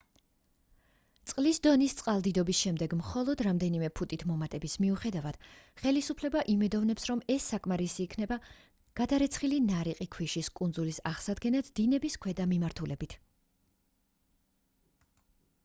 წყლის დონის წყალდიდობის შემდეგ მხოლოდ რამდენიმე ფუტით მომატების მიუხედავად ხელისუფლება იმედოვნებს რომ ეს საკმარისი იქნება გადარეცხილი ნარიყი ქვიშის კუნძულის აღსადგენად დინების ქვედა მიმართულებით